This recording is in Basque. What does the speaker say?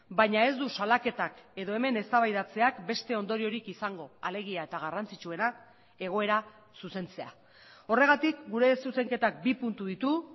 baina ez du salaketak edo hemen eztabaidatzeak beste ondoriorik izango alegia eta garrantzitsuena egoera zuzentzea horregatik gure zuzenketak bi puntu ditu